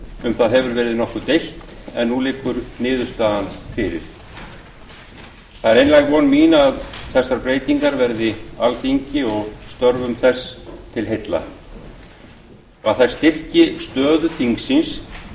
um það hafa verið nokkrar deilur en nú liggur niðurstaða fyrir það er einlæg von mín að þessar breytingar verði alþingi og störfum þess til heilla og að þær styrki stöðu þingsins